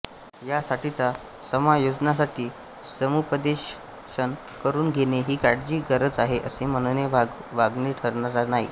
या साठीच्या समायोजनासाठी समुपदेशन करून घेणे हि काळाची गरज आहे असे म्हणने वावगे ठरणार नाही